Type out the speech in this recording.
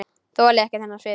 Þoli ekki þennan svip.